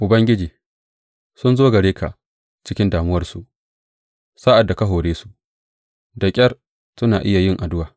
Ubangiji, sun zo gare ka a cikin damuwarsu; sa’ad da ka hore su, da ƙyar suna iya yin addu’a.